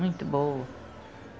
Muito boa.